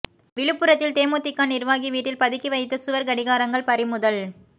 விழுப்புரத்தில் தேமுதிக நிர்வாகி வீட்டில் பதுக்கி வைத்த சுவர் கடிகாரங்கள் பறிமுதல்